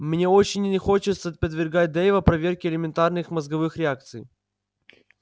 мне очень не хочется подвергать дейва проверке элементарных мозговых реакций